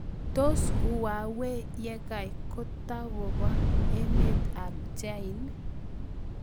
Tos huwawei yekai kotakopaa emet ap chain?